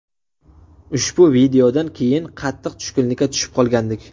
Ushbu voqeadan keyin qattiq tushkunlikka tushib qolgandik.